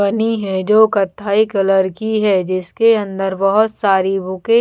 बनी हैं जो कत्थई कलर की हैं जिसके अन्दर बहुत सारी बुकें --